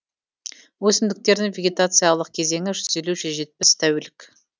өсімдіктердің вегетациялық кезеңі жүз елу жүз жетпіс тәулік